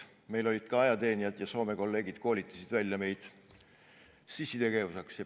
Meil olid ka ajateenijad ja Soome kolleegid koolitasid meid välja sissitegevuseks.